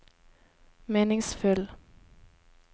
meningsfull